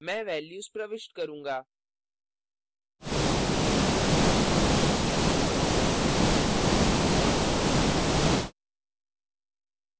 मैं values प्रविष्ट करूँगा